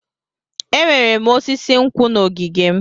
Enwere m osisi nkwụ n'ogige m.